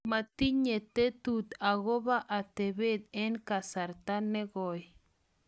matinye tetut akobo atebie eng' kasarta ne goi